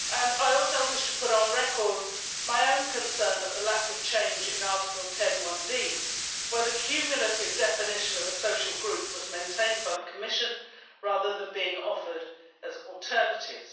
I also wish to put on record my own concern at the lack of change in Article 10, where the cumulative definition of a social group was maintained by the Commission rather than being offered as an alternative.